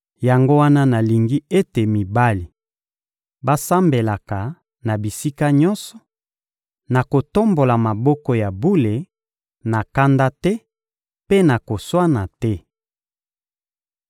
Yango wana nalingi ete mibali basambelaka na bisika nyonso, na kotombola maboko ya bule, na kanda te mpe na koswana te.